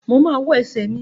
Mo ma wà ẹsẹ́ mi.